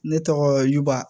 Ne tɔgɔ juba